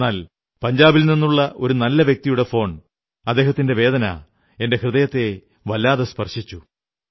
എന്നാൽ പഞ്ചാബിൽ നിന്നുള്ള ഒരു നല്ല വ്യക്തിയുടെ ഫോൺ അദ്ദേഹത്തിന്റെ വേദന എന്റെ ഹൃദയത്തെ സ്പർശിച്ചു